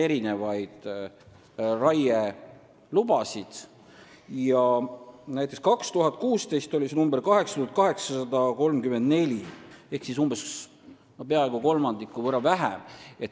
Näiteks aastal 2016 oli see number 8834 ehk siis lube anti peaaegu kolmandiku võrra vähem.